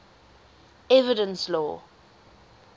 evidence law